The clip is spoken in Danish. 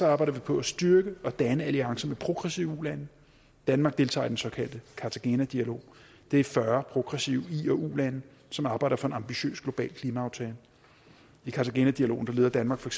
arbejder vi på at styrke og danne alliancer med progressive ulande danmark deltager i den såkaldte cartagena dialog det er fyrre progressive i og ulande som arbejder for en ambitiøs global klimaaftale i cartagena dialogen leder danmark for